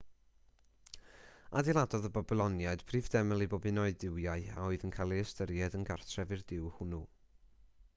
adeiladodd y babyloniaid prif deml i bob un o'u duwiau a oedd yn cael eu hystyried yn gartref i'r duw hwnnw